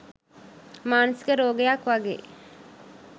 මානසික රෝගයක් වගේ.